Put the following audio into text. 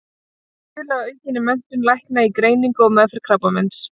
Að stuðla að aukinni menntun lækna í greiningu og meðferð krabbameins.